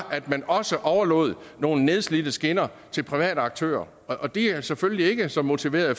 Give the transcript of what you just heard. at man også overlod nogle nedslidte skinner til private aktører og de er selvfølgelig ikke så motiverede